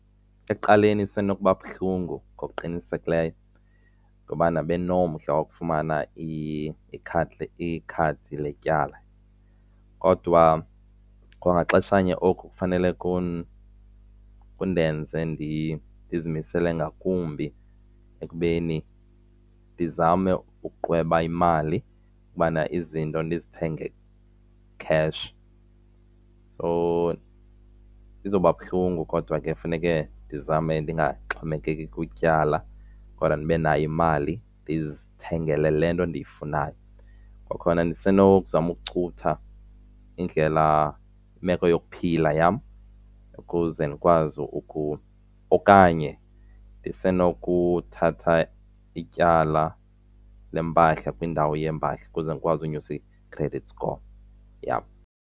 Ekuqaleni, isenokuba buhlungu ngokuqinisekileyo ngobana bendinomdla wokufumana ikhadi letyala. Kodwa kwangaxeshanye oku kufanele kundenze ndizimisele ngakumbi ekubeni ndizame ukuqweba imali ukubana izinto ndizithenge kheshi. So izoba buhlungu kodwa ke kufuneke ndizame ndingaxhomekeki kwityala kodwa ndibe nayo imali ndizithengele le nto ndiyifunayo. Kwakhona ndisenokuzama ukucutha indlela imeko yokuphila yam ukuze ndikwazi ukuba okanye zisenokuthatha ityala lempahla kwindawo yeempahla ukuze ndikwazi ukunyusa i-credit score yam.